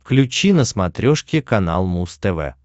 включи на смотрешке канал муз тв